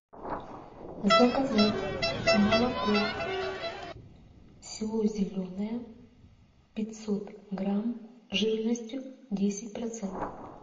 заказать молоко село зеленое пятьсот грамм жирностью десять процентов